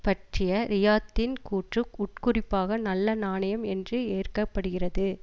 பற்றிய ரியாத்தின் கூற்று உட்குறிப்பாக நல்ல நாணயம் என்று ஏற்கப்படுகிறது